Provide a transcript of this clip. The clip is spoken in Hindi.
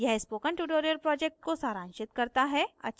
यह spoken tutorial project को सारांशित करता है